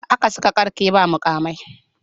Haka suka ƙarke ba muƙamai.